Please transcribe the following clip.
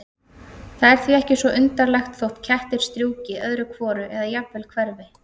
Það er því ekki svo undarlegt þótt kettir strjúki öðru hvoru eða jafnvel hverfi.